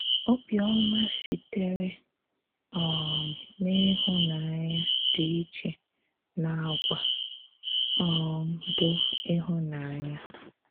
Òbíọ́má sị̀tèrè um n’íhụ̀nànyà dị iche n’àgwà um bụ́ íhụ̀nànyà.